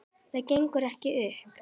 Það gengur ekki upp.